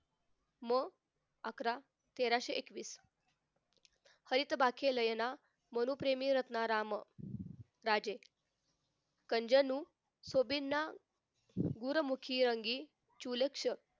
हम्म अकरा तेराशे एकवीस हरितबाके लयना मनुप्रेमी रत्ना राम राजे कंजनु स्वभिन्न दूर मुखी अंगी चुलक्ष